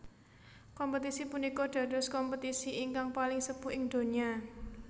Kompetisi punika dados kompetisi ingkang paling sepuh ing donya